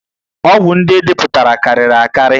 Ọgwụ ndị e depụtara karịrị akarị